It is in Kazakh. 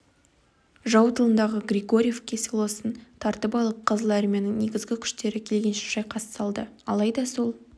жау тылындағы григорьевка селосын тартып алып қызыл армияның негізгі күштері келгенше шайқас салды алайда сол